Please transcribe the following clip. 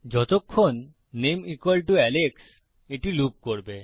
যতক্ষণ name Alex এটি loop করবে